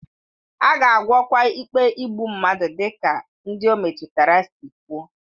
A ga-agwọkwa ikpe igbu mmadụ dịka ndị ọ metụtara si kwuo